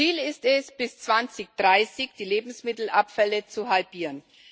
Ziel ist es, bis 2030 die Lebensmittelabfälle zu halbieren.